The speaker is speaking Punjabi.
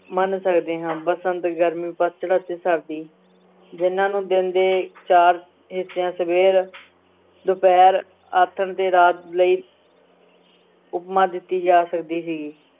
ਮੰਨ ਸਕਦੇ ਹਾਂ ਬਸੰਤ, ਗਰਮੀ, ਪਤਝੜ ਅਤੇ ਸਰਦੀ, ਜਿਹਨਾਂ ਨੂੰ ਦਿਨ ਦੇ ਚਾਰ ਹਿੱਸਿਆਂ ਸਵੇਰ ਦੁਪਹਿਰ, ਆਥਣ ਤੇ ਰਾਤ ਲਈ ਉਪਮਾ ਦਿੱਤੀ ਜਾ ਸਕਦੀ ਸੀਗੀ।